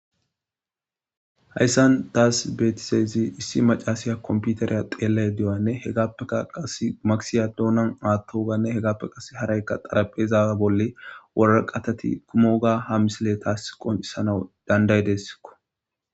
hayssan daas beetisayzi issi macasiya komputariya xeellay di7oyanne hegappeka qas maksiya doonan maattooganne hegappe qas haraykka xaraphezaawa bolle wora qatati kumoga ha misile taas qoncissana danday deessikko